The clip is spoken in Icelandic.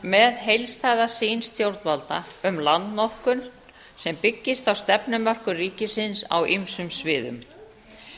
með heildstæða sýn stjórnvalda um landnotkun sem byggist á stefnumörkun ríkisins á ýmsum sviðum